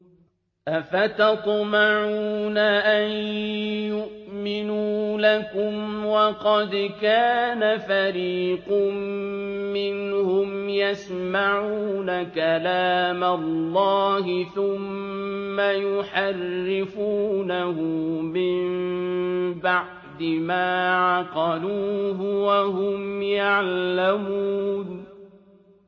۞ أَفَتَطْمَعُونَ أَن يُؤْمِنُوا لَكُمْ وَقَدْ كَانَ فَرِيقٌ مِّنْهُمْ يَسْمَعُونَ كَلَامَ اللَّهِ ثُمَّ يُحَرِّفُونَهُ مِن بَعْدِ مَا عَقَلُوهُ وَهُمْ يَعْلَمُونَ